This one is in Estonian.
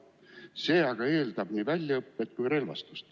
See aga eeldab nii väljaõpet kui ka relvastust.